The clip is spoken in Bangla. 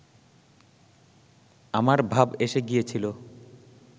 আমার ভাব এসে গিয়েছিলো